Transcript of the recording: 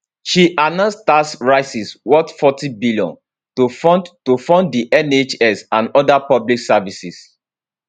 she announce tax rises worth 40bn to fund to fund di nhs and oda public services